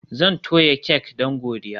Zan toya kek don godiya